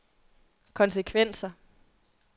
konsekvenser